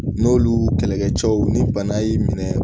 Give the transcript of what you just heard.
N'olu kɛlɛkɛ cɛw ni bana y'i minɛ